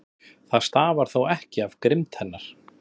Það stafar þó ekki af grimmd hennar.